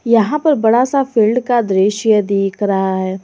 यहां पर बड़ा सा फील्ड का दृश्य दिख रहा है।